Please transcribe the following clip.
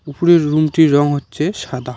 উপরে রুমটির রং হচ্ছে সাদা।